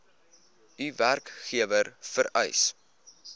u werkgewer vereis